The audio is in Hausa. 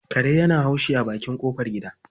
Kare yana haushi a bakin ƙofar gida.